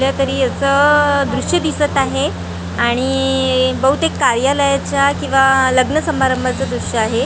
कुठल्या तरी याच दृश्य दिसतं आहे आणि बहुतेक कार्यालयाचं किंवा लग्न समारंभाचं दृश्य आहे.